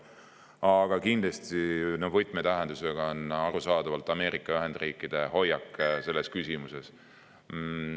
Aga arusaadavalt on kindlasti võtmetähendusega Ameerika Ühendriikide hoiak selles küsimuses.